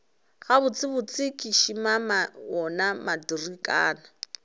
gabotsebotse ke šimama wona matrikana